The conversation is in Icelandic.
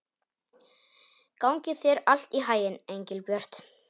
Gangi þér allt í haginn, Engilbjört.